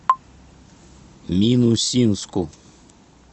минусинску